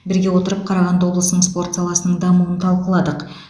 бірге отырып қарағанды облысының спорт саласының дамуын талқыладық